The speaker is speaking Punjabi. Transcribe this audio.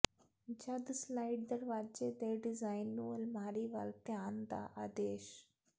ਜਦ ਸਲਾਇਡ ਦਰਵਾਜ਼ੇ ਦੇ ਡਿਜ਼ਾਇਨ ਨੂੰ ਅਲਮਾਰੀ ਵੱਲ ਧਿਆਨ ਦਾ ਆਦੇਸ਼